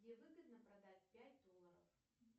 где выгодно продать пять долларов